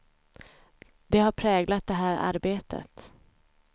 Det har präglat det här arbetet.